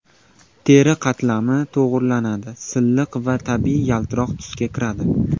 Teri qatlami to‘g‘rilanadi, silliq va tabiiy yaltiroq tusga kiradi.